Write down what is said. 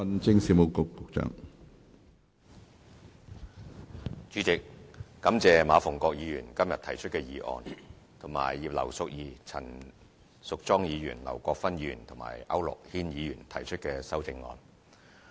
主席，感謝馬逢國議員今天提出的議案及葉劉淑儀議員、陳淑莊議員、劉國勳議員和區諾軒議員提出的修正案。